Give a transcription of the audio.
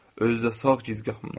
Özü də sağ gicgahımdan.